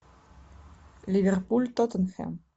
ливерпуль тоттенхэм